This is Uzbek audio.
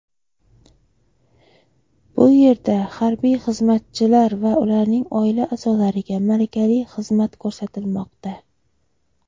Bu yerda harbiy xizmatchilar va ularning oila a’zolariga malakali xizmat ko‘rsatilmoqda.